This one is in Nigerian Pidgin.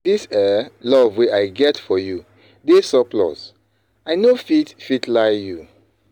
Di um love wey i get for you dey surplus, i no fit fit lie you.